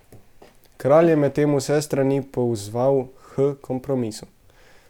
Kralj je medtem vse strani pozval h kompromisu.